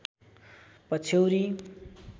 पछ्यौरी